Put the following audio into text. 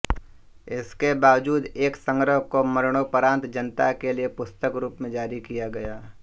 इसके बावजूद एक संग्रह को मरणोपरांत जनता के लिए पुस्तक रूप में जारी किया गया